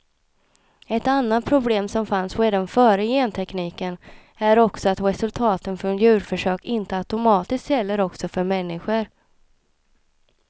Ett annat problem, som fanns redan före gentekniken, är också att resultaten från djurförsök inte automatiskt gäller också för människor.